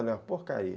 Eu falei, porcaria.